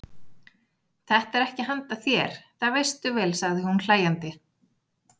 Þetta er ekki handa þér, það veistu vel, sagði hún hlæjandi.